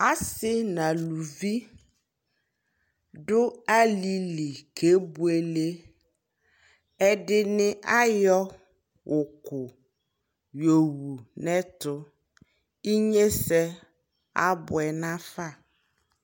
Asi na luvi du alili kɛ bueleƐdini ayɔ uku yɔ wu nɛtu Inye sɛ abue na fa